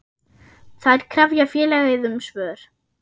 Þær krefja félagið um svör.